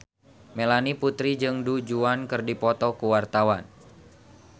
Melanie Putri jeung Du Juan keur dipoto ku wartawan